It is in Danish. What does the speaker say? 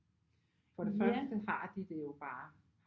For det første har de det jo bare